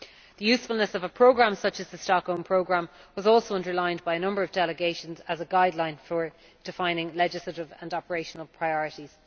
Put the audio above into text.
The usefulness of a programme such as the Stockholm Programme was also underlined by a number of delegations as a guideline for defining legislative and operational priorities.'